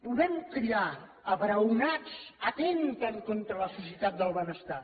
podem cridar abraonats atempten contra la societat del benestar